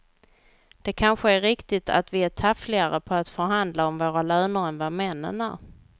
Det kanske är riktigt att vi är taffligare på att förhandla om våra löner än vad männen är.